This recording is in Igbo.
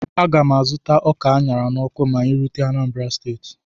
A ga m azụta ọka a ṅara n'ọkụ ma anyị rute Anambra steeti